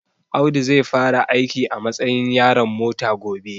Audu zai fara aiki a matsayin yaron mota gobe